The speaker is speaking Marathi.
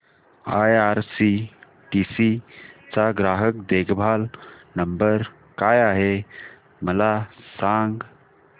आयआरसीटीसी चा ग्राहक देखभाल नंबर काय आहे मला सांग